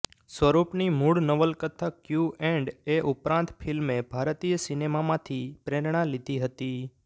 સ્વરૂપની મૂળ નવલકથા ક્યૂ એન્ડ એ ઉપરાંત ફિલ્મે ભારતીય સિનેમામાંથી પ્રેરણા લીધી હતી